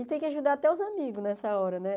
E tem que ajudar até os amigos nessa hora, né?